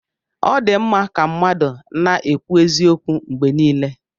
Ọ dị mma ka mmadụ na-ekwu eziokwu mgbe niile.